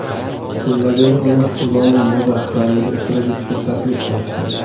Kutilmaganda uni London moda haftaligida ishtirok etishga taklif qilishgan.